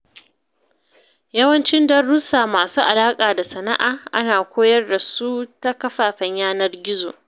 Yawancin darussa masu alaƙa da sana’a ana koyar da su ta kafafen yanar gizo.